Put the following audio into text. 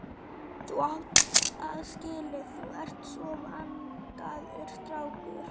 Þú átt það skilið, þú ert svo vandaður strákur.